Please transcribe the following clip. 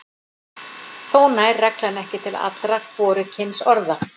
Þó nær reglan ekki til allra hvorugkynsorða.